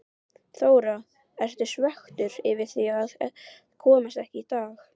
Þóra: Ertu svekktur yfir því að komast ekki í dag?